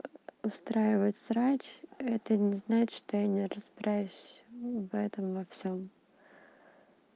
устраивать беспорядок это не значит что я не разбираюсь в этом во всём